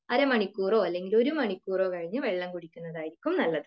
അരമണിക്കൂറോ അല്ലെങ്കിൽ ഒരുമണിക്കൂറോ കഴിഞ്ഞു വെള്ളം കുടിക്കുന്നതായിരിക്കും നല്ലത്.